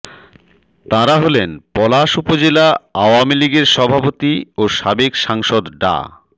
তাঁরা হলেন পলাশ উপজেলা আওয়ামী লীগের সভাপতি ও সাবেক সাংসদ ডা